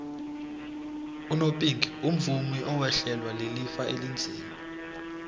unopinki umvumi owehlelwa lilifa elinzima